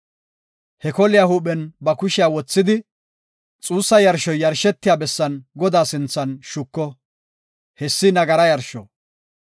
He koliya huuphen ba kushiya wothidi xuussa yarshoy yarshetiya bessan Godaa sinthan shuko; hessi nagara yarsho.